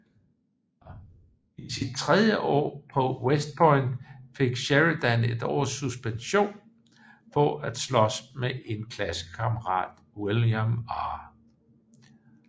I sit tredje år på West Point fik Sheridan et års suspension for at slås med en klassekammerat William R